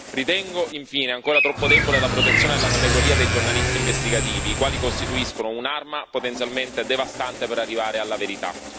Ritengo infine ancora troppo debole la protezione della categoria dei giornalisti investigativi, i quali costituiscono un'arma potenzialmente devastante per arrivare alla verità.